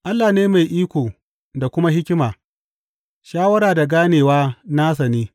Allah ne mai iko da kuma hikima, shawara da ganewa nasa ne.